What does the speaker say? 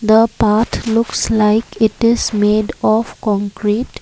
the path looks like it is made of concrete.